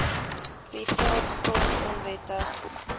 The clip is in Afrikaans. privaat grond onwettig